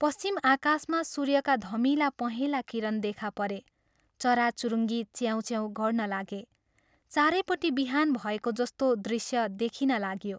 पश्चिम आकाशमा सूर्यका धमिला पहेंला किरण देखा परे चराचुरुङ्गी च्याउँ च्याउँ गर्न लागे चारैपट्टि बिहान भएको जस्तो दृश्य देखिन लाग्यो।